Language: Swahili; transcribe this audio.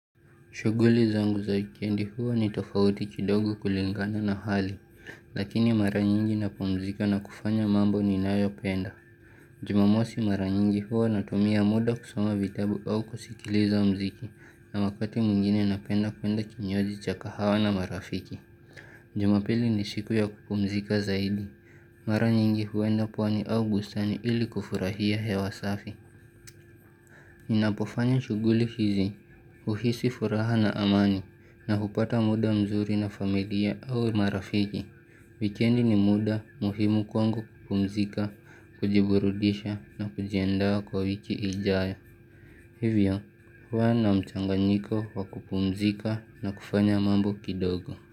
Shughuli zangu za wikendi huwa ni tofauti kidogo kulingana na hali, lakini mara nyingi napumzika na kufanya mambo ninayopenda. Jumamosi mara nyingi huwa natumia muda kusoma vitabu au kusikiliza mziki na wakati mwingine napenda kwenda kinywaji cha kahawa na marafiki. Jumapili ni siku ya kupumzika zaidi. Mara nyingi huenda pwani au bustani ili kufurahia hewa safi. Ninapofanya shughuli hizi, huhisi furaha na amani na hupata muda mzuri na familia au marafiki. Wikendi ni muda muhimu kwangu kupumzika, kujiburudisha na kujiandaa kwa wiki ijayo. Hivyo, huwa na mchanganyiko wa kupumzika na kufanya mambo kidogo.